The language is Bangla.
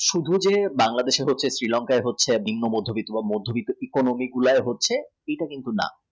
শুধু যে Bangladesh এ হচ্ছে Sri Lanka য় হচ্ছে